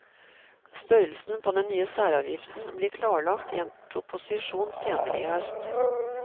Størrelsen på den nye særavgiften blir klarlagt i en proposisjon senere i høst.